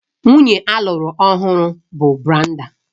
Nwunye alụru ọhụrụ bụ Brenda